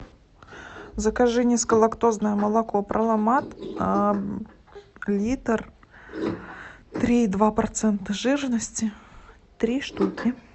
закажи низколактозное молоко проломат литр три и два процента жирности три штуки